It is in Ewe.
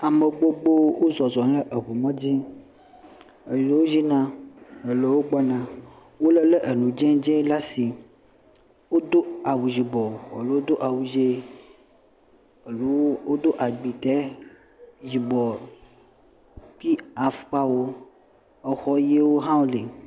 Ame gbogbowo wo zɔzɔm le eŋu mɔdzi…wolé le enu dzee dzee le asi. Wodo awu yibɔ, aɖewo do awu dzee, eɖewo do agbitɛ yibɔ kpi afɔkpawo, exɔ ʋɛ̃wo hã wole.